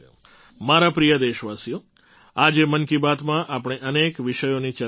મારા પ્રિય દેશવાસીઓ આજે મન કી બાતમાં આપણે અનેક વિષયોની ચર્ચા કરી